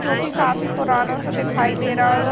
जो कि काफी पुरानो सो दिखाई दे र --